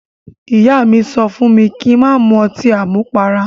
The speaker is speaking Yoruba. Ìyá mi sọ fún mi kí n má mu ọtí àmupara.